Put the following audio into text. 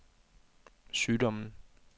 sygdommen